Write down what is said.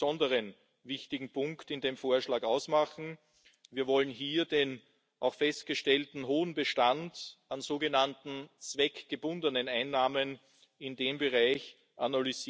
der erste, bei dem sich der Austritt der britischen Freunde für mehr als neun Monate niederschlägt.